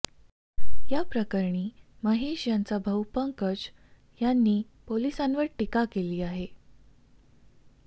या प्रकरणी महेश यांचा भाऊ पंकज यांनी पोलिसांवर टीका केली आहे